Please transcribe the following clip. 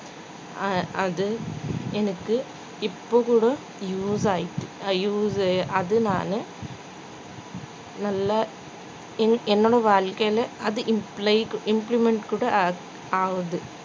அஹ் அது எனக்கு இப்பகூட use ஆகிட்டு use உ அதனால நல்லா என்~ என்னோடைய வாழ்க்கையில அது imply க்கு implement கூட ஆகு~ ஆகுது